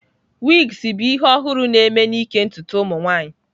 Wigs bụ ihe ọhụrụ na-eme n'ịke ntutu ụmụ nwanyị.